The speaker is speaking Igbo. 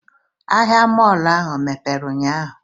Ahịa mọọlụ ahụ emepere ụnyahụ?